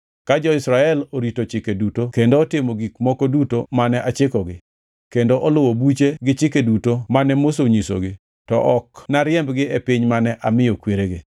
Ka jo-Israel orito chike duto kendo otimo gik moko duto mane achikogi, kendo oluwo buche gi chike duto mane Musa onyisogi, to ok nariembgi e piny mane amiyo kweregi.”